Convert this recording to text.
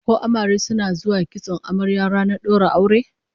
Ko amare suna zuwa kitson amarya ranar daura aure?